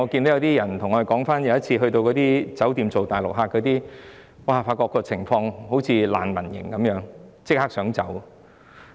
有些人對我們說曾入住接待大陸旅客的酒店，發覺情況好像難民營，想立即離開。